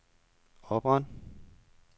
opret